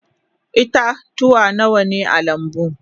Ita-tuwa Nawa ne a lambu?